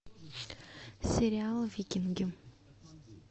сериал викинги